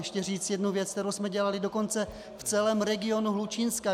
Ještě říct jednu věc, kterou jsme dělali dokonce v celém regionu Hlučínska.